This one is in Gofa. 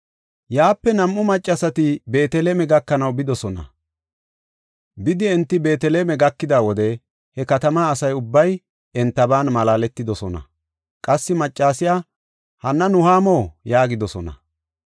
Yaape nam7u maccasati Beeteleme gakanaw bidosona. Bidi enti Beeteleme gakida wode he katama asa ubbay entaban malaaletidosona. Qassi maccasay, “Hanna Nuhaamo?” yaagidosona.